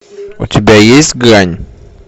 у тебя есть грань